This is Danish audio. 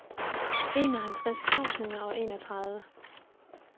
enoghalvtreds tusind og enogtredive